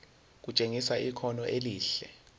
kutshengisa ikhono elihle